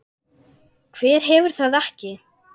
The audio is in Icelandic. Hver hefur það ekki?